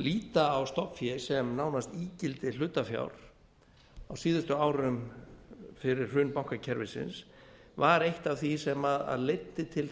líta á stofn fé sem nánast ígildi hlutafjár á síðustu árum fyrir hrun bankakerfisins var eitt af því sem leiddi til